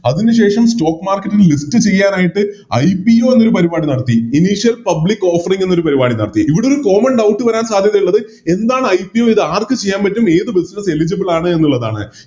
അതിനുശേഷം Stock marketing list ചെയ്യാനായിട്ട് IPO എന്ന പരിപാടി നടത്തി Initial public offering എന്ന പരിപാടി നടത്തി ഇവിടെയൊരു Common doubt വരാൻ സാധ്യതയുള്ളത് എന്താണ് IPO ഇത് ആർക്ക് ചെയ്യാൻ പറ്റും എത് Eligible ചെയ്യുന്നു എന്നുള്ളതാണ്